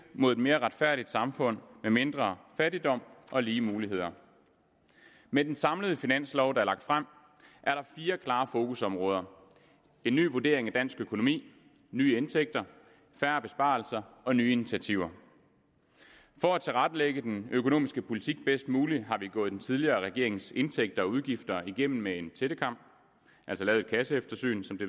mod et mere retfærdigt samfund med mindre fattigdom og med lige muligheder med den samlede finanslov der er lagt frem er der fire klare fokusområder en ny vurdering af dansk økonomi nye indtægter færre besparelser og nye initiativer for at tilrettelægge den økonomiske politik bedst muligt har vi gået den tidligere regerings indtægter og udgifter igennem med en tættekam altså lavet et kasseeftersyn som det